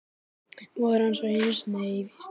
Móðir hans var einu sinni í vist hér.